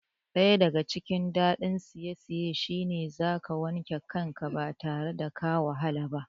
Daya daga cikin dadin saisaye shine zaka wanke kanka ba tare da ka wahala ba